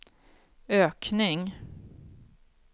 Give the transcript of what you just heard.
ökning